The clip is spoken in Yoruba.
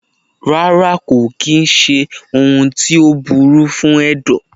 Rárá kò kìí ṣé ohun tó burú fún ẹ̀dọ̀.